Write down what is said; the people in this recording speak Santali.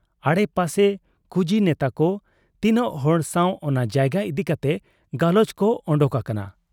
ᱟᱰᱮ ᱯᱟᱥᱮ ᱠᱩᱡᱤ ᱱᱮᱛᱟᱠᱚ ᱛᱤᱱᱟᱹᱜ ᱦᱚᱲ ᱥᱟᱶ ᱚᱱᱟ ᱡᱟᱭᱜᱟ ᱤᱫᱤ ᱠᱟᱛᱮ ᱜᱟᱞᱚᱪ ᱠᱚ ᱚᱰᱚᱠ ᱟᱠᱟᱱᱟ ᱾